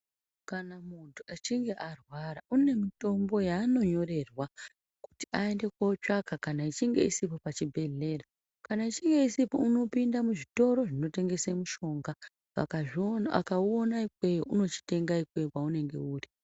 Kana muntu echinge arwara une mitombo yaano nyorerwa kuti aende kotsvaka kana yeinge isipo pachibhedhlera. Kana ichinge isipo, unopinde muzvitoro zvinotengese mishonga. Akazviona, akaona ikweyo unochitenga ikweyo kweunenge uri.